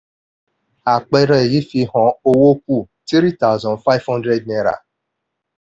àpẹẹrẹ yìí fihan owó kù three thousand five hundred naira